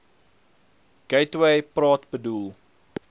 gateway praat bedoel